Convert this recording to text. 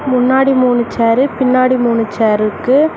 முன்னாடி மூணு சேரு பின்னாடி மூணு சேர் இருக்கு.